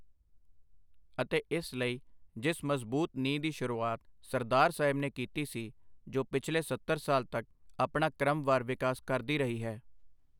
ਅਤੇ ਇਸ ਲਈ ਜਿਸ ਮਜ਼ਬੂਤ ਨੀਂਹ ਦੀ ਸ਼ੁਰੂਆਤ ਸਰਦਾਰ ਸਾਹਿਬ ਨੇ ਕੀਤੀ ਸੀ, ਜੋ ਪਿਛਲੇ ਸੱਤਰ ਸਾਲ ਤੱਕ ਆਪਣਾ ਕ੍ਰਮਵਾਰ ਵਿਕਾਸ ਕਰਦੀ ਰਹੀ ਹੈ।